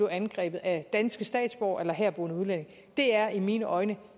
angrebet af danske statsborgere eller herboende udlændinge det er i mine øjne